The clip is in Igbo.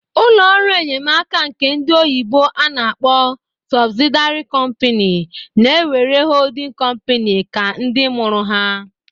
Ụlọ ọrụ enyemaka nke ndi oyibo ana-akpọ sọbsịdịary kọmpịny na ewere holding kọmpịny ka ndimụrụ ha